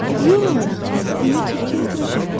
Yox, deyə Tülkü etiraf etdi.